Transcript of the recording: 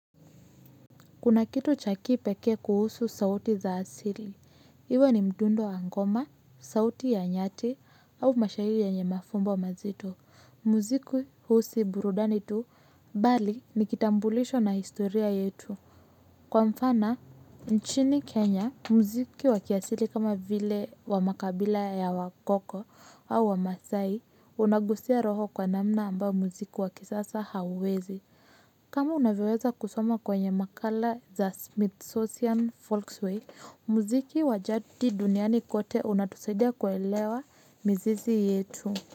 Kuna kitu chakipeke kuhusu sauti za asili. Iwe ni mdundo wa ngoma, sauti ya nyati au mashahiri yanye mafumbo mazito. Muziku husi burudani tu bali nikitambulisho na historia yetu. Kwa mfana, nchini Kenya, muziki wa kiasili kama vile wa makabila ya wakoko au wa masai unagusia roho kwa namna amba muziku wa kisasa hauwezi. Kama unavyoweza kusoma kwenye makala za Smithsonian Volkswagen, muziki wajadi duniani kote unatusaidia kuelewa mizizi yetu.